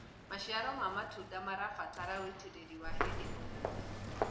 maciaro ma matunda marabatara ũitiriri wa hĩndĩ o hĩndĩ